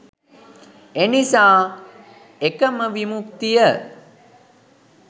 එනිසා එකම විමුක්තිය